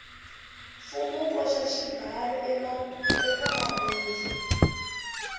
mfumo wu koxa xibalo ekamabindzu